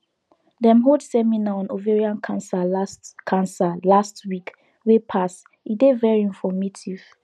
dem hold seminar on ovarian cancer last cancer last week wey pass e dey very informative